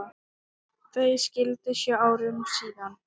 Þau skildu sjö árum síðar.